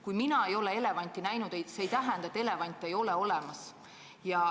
Kui mina ei ole elevanti näinud, siis see ei tähenda, et elevante ei ole olemas.